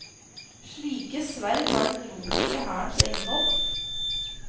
Slike sverd var den romerske hærens eiendom.